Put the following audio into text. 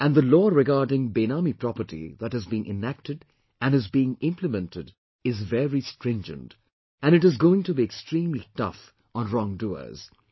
And the law regarding Benami property that has been enacted and is being implemented is very stringent and it is going to be extremely tough on wrong doers